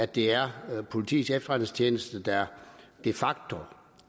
det er politiets efterretningstjeneste der de facto